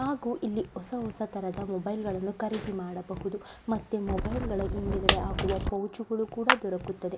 ಹಾಗು ಇಲ್ಲಿ ಹೊಸ ಹೊಸ ತರಹದ ಮೊಬೈಲ್ ಗಳನ್ನೂ ಖರೀದಿ ಮಾಡಬಹುದು ಮತ್ತೆ ಮೊಬೈಲುಗಳ ಹಿಂದೆ ಗಡೆ ಹಾಕುವ ಪೌಚ್ಗಳು ಕೂಡ ದೊರಕುತ್ತದೆ.